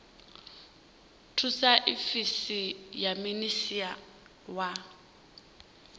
thusa ofisi ya minisia wa